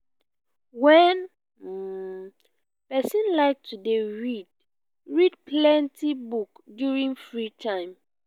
wen um person like to dey read read plenty book during free time